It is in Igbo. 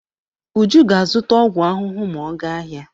Uju ga-azụta ọgwụ ahụhụ ma ọ gaa ahịa.